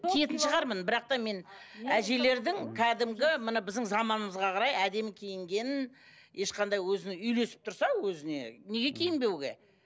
киетін шығармын бірақ та мен әжелердің кәдімгі мына біздің заманымызға қарай әдемі киінгенін ешқандай өзінің үйлесіп тұрса өзіне неге киінбеуге